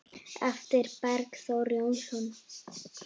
eftir Bergþór Jónsson